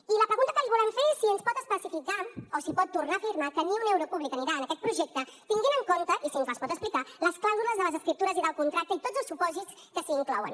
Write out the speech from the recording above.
i la pregunta que li volem fer és si ens pot especificar o si pot tornar a afirmar que ni un euro públic anirà a aquest projecte tenint en compte i si ens les pot explicar les clàusules de les escriptures i del contracte i tots els supòsits que s’hi inclouen